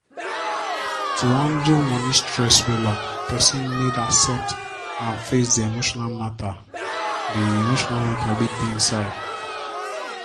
to handle moni stress wella person need accept and face the emotional matter the emotional matter wey dey inside.